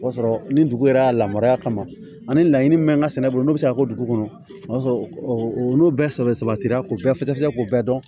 O b'a sɔrɔ ni dugu yɛrɛ y'a lamara kama ani laɲini min bɛ n ka sɛnɛ bolo n'o bɛ se ka kɛ dugu kɔnɔ o y'a sɔrɔ o n'o bɛɛ sɛbɛ sabatira k'o bɛɛ fɔ k'o bɛɛ dɔn